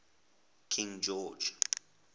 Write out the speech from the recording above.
king george